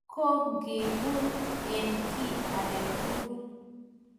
ko ngeboot eng kiiy age tugul